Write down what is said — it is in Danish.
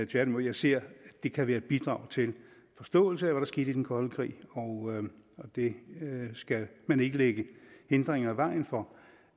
tværtimod jeg ser at det kan være et bidrag til forståelse af hvad der skete i den kolde krig og det skal man ikke lægge hindringer i vejen for